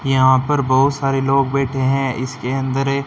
यहां पर बहोत सारे लोग बैठे है इसके अंदर--